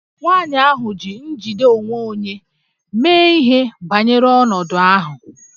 Nwaanyị ahụ ji njide onwe onye mee ihe banyere ọnọdụ ahụ